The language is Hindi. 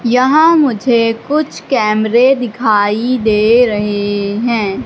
यहां मुझे कुछ कैमरे दिखाई दे रहे हैं।